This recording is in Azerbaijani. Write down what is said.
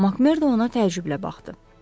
Makmerd ona təəccüblə baxdı.